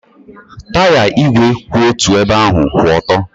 Taya ígwè kwụ otu ebe ahụ kwụ ọtọ.